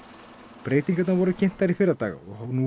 breytingarnar voru kynntar í fyrradag og hafa nú